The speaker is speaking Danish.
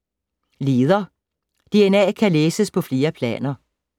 Leder DNA kan læses på flere planer